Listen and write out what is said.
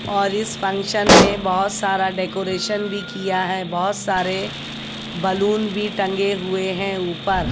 और इस फंक्शन में बहोत सारा डेकोरेशन भी किया है बहोत सारे बलून भी टंगे हुए हैं ऊपर--